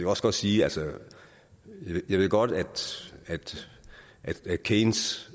også godt sige at jeg godt ved at keynes